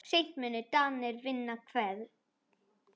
Seint munu Danir vinna Hveðn.